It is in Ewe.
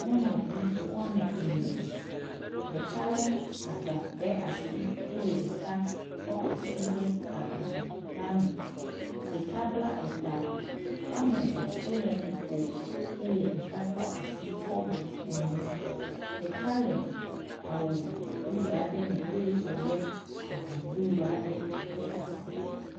Nyɔnuvi wɔme ene, ɖeka le agba ɖe asi eye ɖeka kɔ asi de agba la me. Ɖeka bla eta wɔme eve wo le nu kom eye ɖeka kɔ asi kɔ bu enu. Ɖeka le awu blu aɖe eye wo le avu blu aɖe ɖe asi.